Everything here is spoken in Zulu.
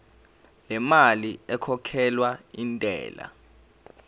lemali ekhokhelwa intela